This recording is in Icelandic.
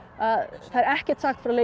það er ekkert sagt frá leikjum í